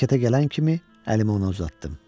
Hərəkətə gələn kimi əlimi ona uzatdım.